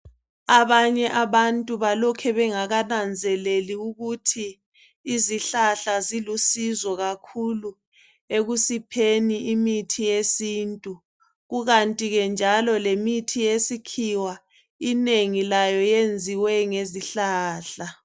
Abanye abantu balokhe bengakananzeleli ukuthi izihlahla zilusizo kakhulu ekusipheni imithi yesintu . Kukanti ke njalo le mithi yesikhiwa inengi layo yenziwe ngezihlahla.